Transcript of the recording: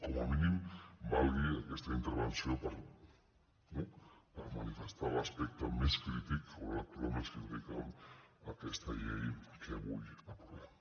com a mínim valgui aquesta intervenció per manifestar l’aspecte més crític o la lectura més crítica a aquesta llei que avui aprovem